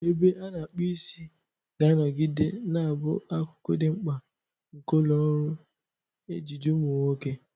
Ebe a na-akpu isi ga-anọgide na-abụ akụkụ dị mkpa nke ụlọ ọrụ ejiji ụmụ nwoke.